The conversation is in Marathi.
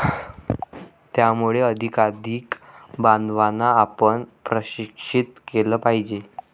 त्यामुळे अधिकाधिक बांधवांना आपण प्रशिक्षित केलं पाहिजे.